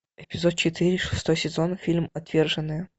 эпизод четыре шестой сезон фильм отверженные